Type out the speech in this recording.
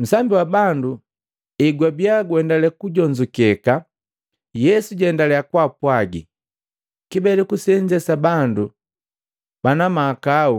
Nsambi wa bandu egwabiya guendale kujonzukeka, Yesu jaendaliya kwaapwagi, “Kibeleku senze sa bandu banamahakau